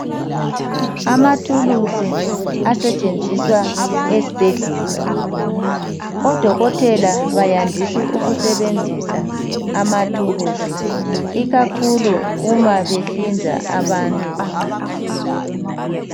Amathulusi asetshenziswa esibhedlela, odokotela bayandisa ukusebenzisa amathulusi ikakhulu uma behlinza abantu.